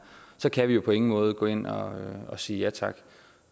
så kan vi på ingen måde gå ind og sige ja tak